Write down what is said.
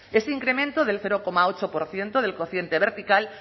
ese incremento del cero coma ocho por ciento del coeficiente vertical